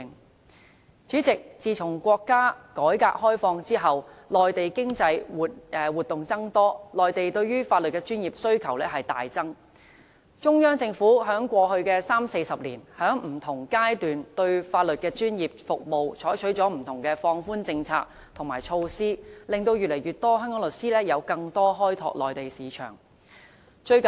代理主席，自從國家改革開放以來，內地經濟活動增多，內地對於法律專業服務的需求大增，中央政府在過去三四十年，在不同階段對香港法律專業服務採取了不同的放寬政策和措施，令越來越多香港律師有更多機會開拓內地市場。